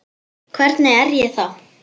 Hvernig er ég þá?